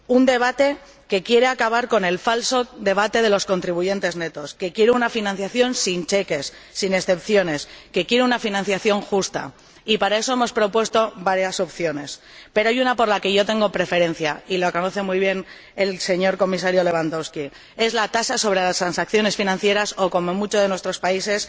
Un debate que quiere acabar con el falso debate de los contribuyentes netos, que quiere una financiación sin cheques, sin excepciones, que quiere una financiación justa. Y para eso hemos propuesto varias opciones, pero hay una por la que yo tengo preferencia, y la conoce muy bien el Comisario Lewandowski es la tasa sobre las transacciones financieras o, como se la conoce en muchos de nuestros países,